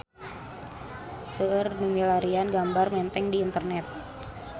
Seueur nu milarian gambar Menteng di internet